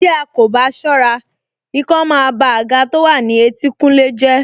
Tí a ò bá ṣọ́ra, ikán máa ba àga tó wà ní ẹ̀tìnkùlé jẹ́